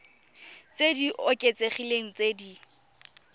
tse di oketsegileng tse di